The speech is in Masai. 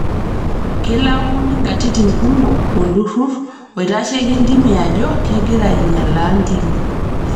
Keilaumuni nkatitin kumok olturrur oitasheki ntimi ajo kegira ainyalaa ntimi